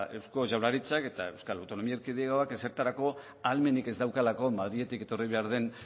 eusko jaurlaritzak eta euskal autonomia erkidegoak ezertarako ahalmenik ez daukalako madriletik etorri behar den